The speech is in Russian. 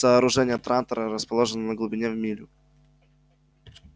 сооружения трантора расположены на глубине в милю